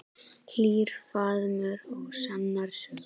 Hlýr faðmur og sannar sögur.